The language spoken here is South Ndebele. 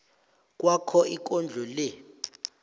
kwakho ikondlo le